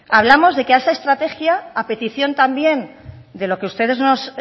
hablamos de que a esta estrategia a petición también de lo que ustedes nos